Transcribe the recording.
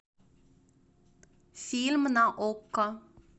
фильм на окко